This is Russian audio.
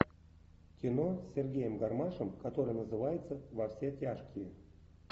кино с сергеем гармашем которое называется во все тяжкие